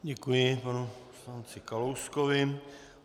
Děkuji panu poslanci Kalouskovi.